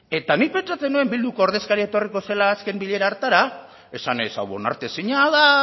eta nik pentsatzen nuen bilduko ordezkaria etorriko zela azken bilera hartara esanez hau onartezina da